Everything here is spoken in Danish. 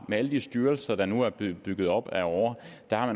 med alle de styrelser der nu er blevet bygget op ad åre